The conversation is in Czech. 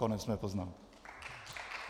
Konec mé poznámky.